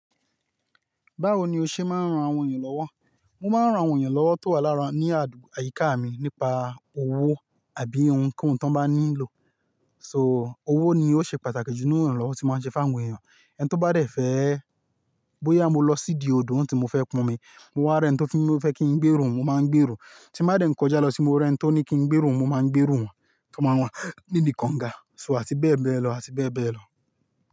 Báwo ni o ṣe máa ń ran àwọn èeyàn lọ́wọ́? Mo máa ń ran àwọn ènìyàn lọ́wọ́ tó wà lára ní àdúgbo-- àyíká mi nípa owó àbí ohunkóhun tó n bá nílò. So owó ni ó ṣe pàtàkì jù nínú iranlowo tí mo máa ń ṣe fáwọn èeyàn. Ẹn tó bá dẹ̀ fẹ́ bóyá mo lọ sídi odò tí mo fẹ́ pọn omi, mo rí ẹni tí o fẹ́ kí ń gbérú òun, mo máa ń gbérú. Tí mo bá dẹ̀ n kọjá lo ti mo rí ẹni tí ó ní kí ń gbérú òun, mo máa ń gbérú won. Tó máa wà nidi kọ̀ǹgà so àti bẹ́ẹ̀ bẹ́ẹ̀ lọ, àti bẹ́ẹ̀ bẹ́ẹ̀ lọ.